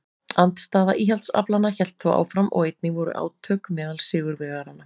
Andstaða íhaldsaflanna hélt þó áfram og einnig voru átök meðal sigurvegaranna.